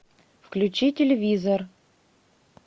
включи телевизор